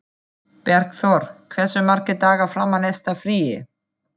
Bergþór, hversu margir dagar fram að næsta fríi?